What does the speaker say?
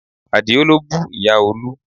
Àdio ló bú Ìyá Olú